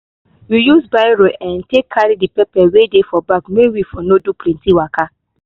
we use barrow um take carry the pepper wey dey for bag may we for no do plenty waka